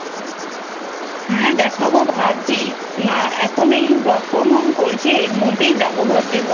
হ্যা দেখাবো ভাবছি এখন এই Work from home করছি এর মধ্যেই যাবো ভাবছি